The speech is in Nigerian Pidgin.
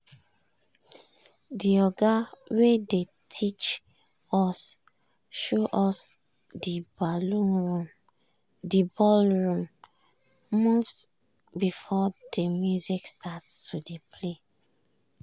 de oga wey dey teach us show us de ballroom moves before de music start to dey play.